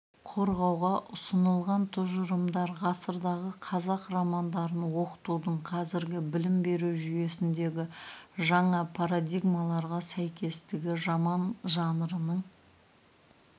қорғауға ұсынылған тұжырымдар ғасырдағы қазақ романдарын оқытудың қазіргі білім беру жүйесіндегі жаңа парадигмаларға сәйкестігі роман жанрының